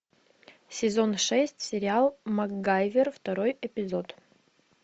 сезон шесть сериал макгайвер второй эпизод